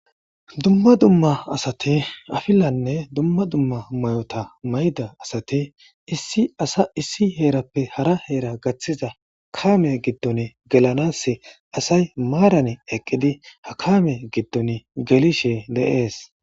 Dumma dumma asati afillanne dumma dumma mayota mayda asati issi asa issi heerappe hara heera gaththiza kame giddon gelanas asay maaran eqqidi hakame giddon gelishe deees.